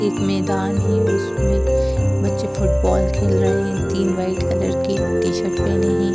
एक मैदान है उसमे बच्चे फुटबॉल खेल रहे है तीन व्हाइट कलर के टीशर्ट पहने है।